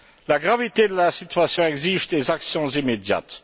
La gravité de la situation exige des actions immédiates.